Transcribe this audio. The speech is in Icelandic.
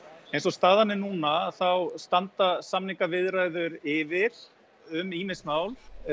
eins og staðan er núna þá standa samningaviðræður yfir um ýmis mál